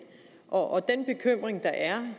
og den bekymring der er